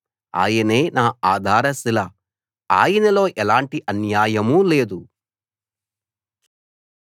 ఆయనే నా ఆధార శిల ఆయనలో ఎలాంటి అన్యాయమూ లేదు